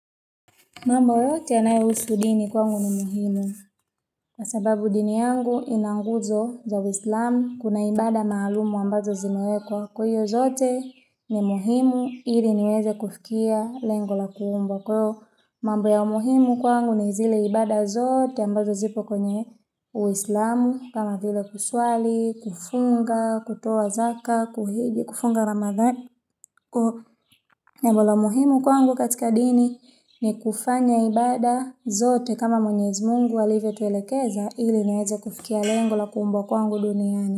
Mamb yote anayehusu dini kwangu ni muhimu. Kwa sababu dini yangu inanguzo za uislamu kuna ibada maalumu ambazo zinuekwa kuyo zote ni muhimu ili niweze kufikia lengo la kuumbwa kwa iyo. Mambo ya muhimu kwangu ni zile ibada zote ambazo zipo kwenye uislamu kama vile kuswali, kufunga, kutoa zaka, kuhige, kufunga ramadhan. Na mbolo muhimu kwangu katika dini ni kufanya ibada zote kama mwenyezi mungu alivyotuelekeza ili nieze kufikia lengo la kumbwa kwangu duniani.